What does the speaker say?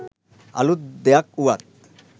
අලුත් දෙයක් වුවත්